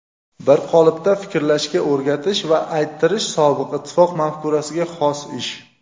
bir qolipda fikrlashga o‘rgatish va ayttirish sobiq ittifoq mafkurasiga xos ish.